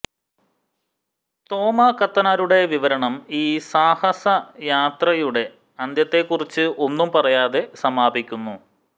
തോമാക്കത്തനാരുടെ വിവരണം ഈ സാഹസയാത്രയുടെ അന്ത്യത്തെക്കുറിച്ച് ഒന്നും പറയാതെ സമാപിക്കുന്നു